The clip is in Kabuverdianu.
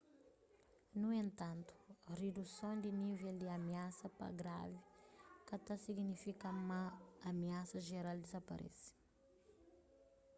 nu entantu riduson di nível di amiasa pa gravi ka ta signifika ma amiasa jeral dizaparese